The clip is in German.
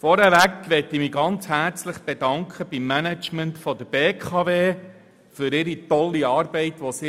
Vorab möchte ich mich herzlich beim Management der BKW für ihre tolle Arbeit bedanken.